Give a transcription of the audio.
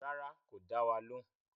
Rárá, kò dá wa lóhùn